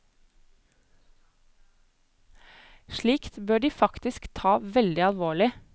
Slikt bør de faktisk ta veldig alvorlig.